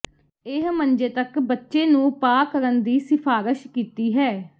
ਇਹ ਮੰਜੇ ਤੱਕ ਬੱਚੇ ਨੂੰ ਪਾ ਕਰਨ ਦੀ ਸਿਫਾਰਸ਼ ਕੀਤੀ ਹੈ